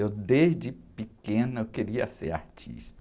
Eu, desde pequena, eu queria ser artista.